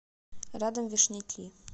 рядом вешняки